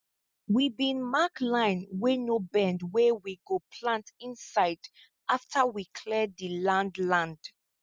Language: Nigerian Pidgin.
we bin mark line wey no bend wey we go plant inside after we clear di land land